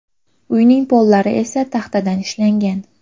Uyning pollari esa taxtadan ishlangan.